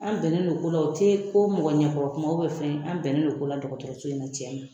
An bɛnnen don ko la o tɛ ko mɔgɔ ɲɛkɔrɔkuma fɛn dɔ an bɛnnen don ko la dɔgɔtɔrɔso in na tiɲɛ na